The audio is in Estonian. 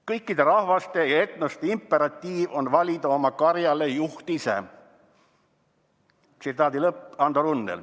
"Kõikide rahvaste ja etnoste imperatiiv on valida oma karja juht ise."